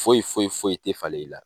Foyi foyi foyi tɛ falen i la.